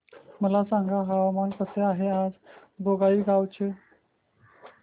मला सांगा हवामान कसे आहे आज बोंगाईगांव चे